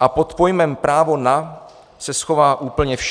a pod pojmem "právo na" se schová úplně vše.